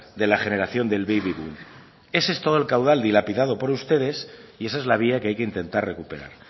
de la generación del baby boom ese es todo el caudal dilapidado por ustedes y esa es la vía que hay que intentar recuperar